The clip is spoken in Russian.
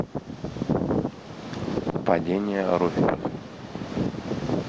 падение руферов